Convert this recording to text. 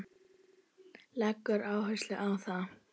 Leggur áherslu á það.